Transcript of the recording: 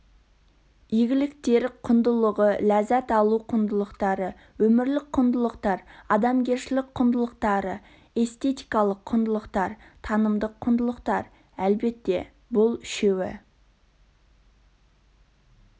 игіліктер құндылығы ләззат алу құндылықтары өмірлік құндылықтар адамгершілік құндылықтары эстетикалық құндылықтар танымдық құндылықтар әлбетте бұл үшеуі